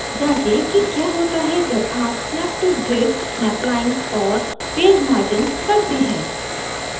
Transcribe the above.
जाँचें कि क्या होता है जब आप snap to grid snap lines और page margins करते हैं